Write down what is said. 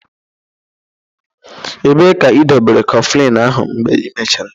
Ebee ka ịdobere Kọflịn ahụ mgbe ị mechaara?